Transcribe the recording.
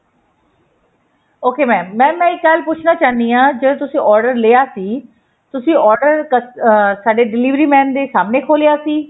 ok mam mam ਮੈਂ ਇੱਕ ਗੱਲ ਪੁੱਛਣਾ ਚਾਹਨੀ ਹਾਂ ਜਦੋਂ ਤੁਸੀਂ order ਲਿਆ ਸੀ ਤੁਸੀਂ order ਅਹ ਸਾਡੇ delivery man ਦੇ ਸਾਮਣੇ ਖੋਲਿਆ ਸੀ